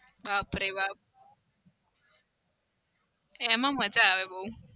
બાપરે બાપ. એમાં મજા આવે બઉ.